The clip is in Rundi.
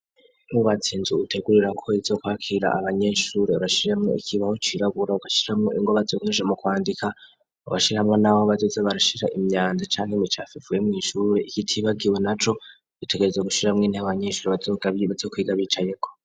Wubatse Inzu utegura ko izokwakira abanyeshuri ubashiramwo ikibaho cirabura ugashiramo ingwa bazokoresha mu kwandika. Ugashiramo nabo bazoza barashira imyanda cane mu ishure utibagiwe naco bitegereza gushiramwo intebe abanyeshuri abatoboga bibatse kwiga bicayeko.